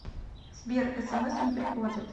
сбер смс не приходят